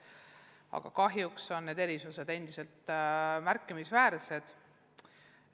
Aga kahjuks on need erisused endiselt märkimisväärsed.